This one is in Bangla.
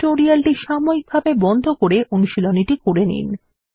টিউটোরিয়ালটি সাময়িকভাবে বন্ধ করে অনুশীলনীটি করে নিন